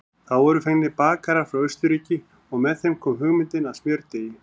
Þá voru fengnir bakarar frá Austurríki og með þeim kom hugmyndin að smjördeigi.